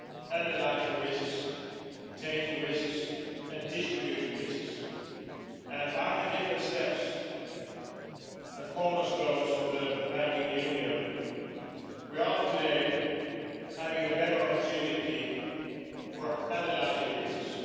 analysing risks, taking risks and distributing risks, and by the different steps and cornerstones of the banking union, we have today a better opportunity to analyse risks.